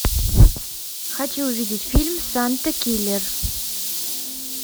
хочу увидеть фильм санта киллер